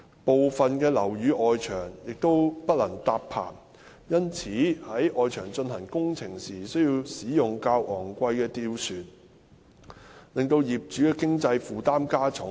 部分樓宇的外牆不能搭棚，因此在外牆進行工程時需使用較昂貴的吊船，令業主的經濟負擔加重。